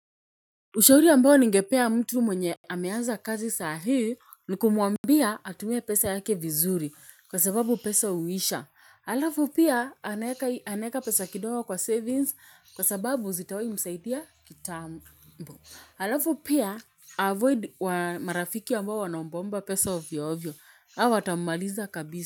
Ushauri ambao ningepea mtu mwenye ameanza kazi sahii ni kumwambia atumie pesa yake vizuri kwa sababu pesa huisha. Halafu pia anaeka pesa kidogo kwa savings kwa sababu zitawai msaidia kitambo. Alafu pia avoid marafiki ambao wanaombaomba pesa ovyoovyo. Hao watammaliza kabisa.